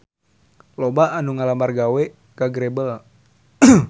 Loba anu ngalamar gawe ka Grebel